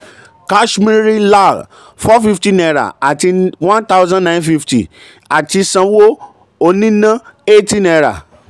kashmiri lal ₦450 àti ₦1950 àti sanwó oníná ₦80.